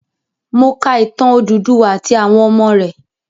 Mo ka ìtàn Odùduwà àti àwọn ọmọ rẹ̀.